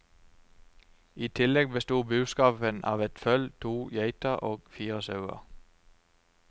I tillegg bestod buskapen av et føll, to geiter og fire sauer.